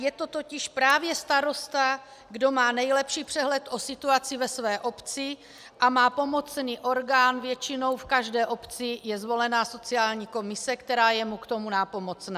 Je to totiž právě starosta, kdo má nejlepší přehled o situaci ve své obci a má pomocný orgán, většinou v každé obci je zvolena sociální komise, která je mu k tomu nápomocna.